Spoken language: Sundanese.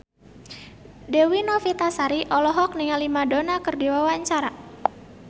Dewi Novitasari olohok ningali Madonna keur diwawancara